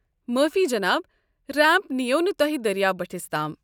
معٲفی، جناب۔ ریمپ نیو نہٕ تۄہہِ دٔریاو بٔٹھِس تام۔